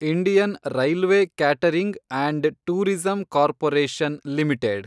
Indian railway catering and tourism corporation limited